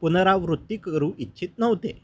पुनरावृत्ती करू इच्छित नव्हते